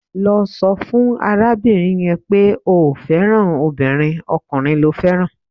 Lọ sọ fún arábìnrin yẹn pé o ò fẹ́ràn obìnrin, ọkùnrin lo fẹ́ràn